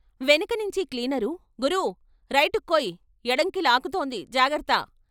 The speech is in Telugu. వెనకనించి క్లీనరు "గురూ, రైటుక్కోయ్ ఎడంకి లాగుతోంది జాగర్త....